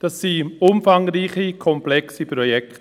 Das sind umfangreiche, komplexe Projekte.